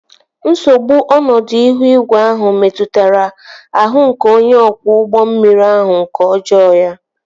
Nsogbu ọnọdụ ihu igwe ahụ metụtara ahụ ike onye ọkwọ ụgbọ mmiri ahụ nke ọjọọ ya